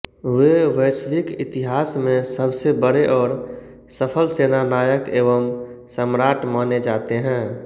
वे वैश्विक इतिहास में सबसे बड़े और सफल सेनानायक एवं सम्राट माने जाते हैं